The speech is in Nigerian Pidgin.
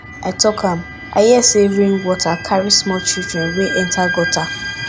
i talk am i hear say rain water carry small children wey enter gutter